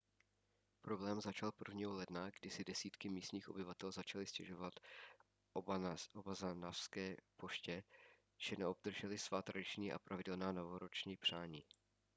problém začal 1. ledna kdy si desítky místních obyvatel začaly stěžovat obanazawské poště že neobdržely svá tradiční a pravidelná novoroční přání